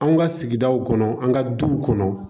An ka sigidaw kɔnɔ an ka duw kɔnɔ